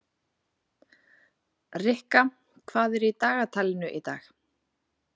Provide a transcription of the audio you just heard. Rikka, hvað er í dagatalinu í dag?